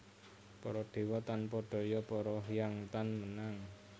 Para dewa tanpa daya para hyang tan menang